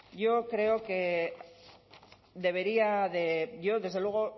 yo desde luego